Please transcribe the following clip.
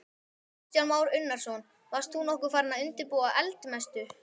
Kristján Már Unnarsson: Varst þú nokkuð farinn að undirbúa eldmessu?